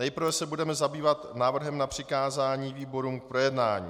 Nejprve se budeme zabývat návrhem na přikázání výborům k projednání.